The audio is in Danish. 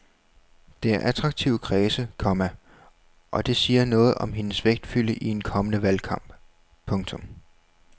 Det er attraktive kredse, komma og det siger noget om hendes vægtfylde i en kommende valgkamp. punktum